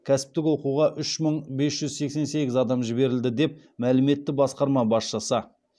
кәсіптік оқуға үш мың бес жүз сексен сегіз адам жіберілді деп мәлім етті басқарма басшысы